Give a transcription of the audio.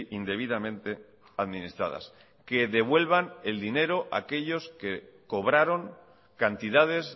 indebidamente administradas que devuelvan el dinero aquellos que cobraron cantidades